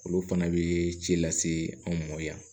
Olu fana bɛ ci lase anw ma yan